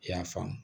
I y'a faamu